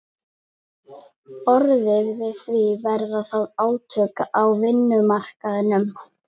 orðið við því, verða þá átök á vinnumarkaðnum?